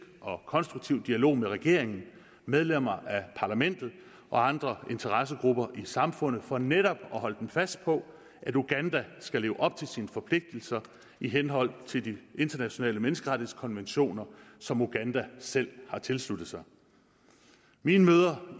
og konstruktiv dialog med regeringen medlemmer af parlamentet og andre interessegrupper i samfundet for netop at holde dem fast på at uganda skal leve op til sine forpligtelser i henhold til de internationale menneskerettighedskonventioner som uganda selv har tilsluttet sig mine møder